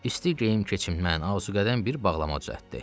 İsti geyim keçirtdi və ona arzuqədər bir bağlama düzəltdi.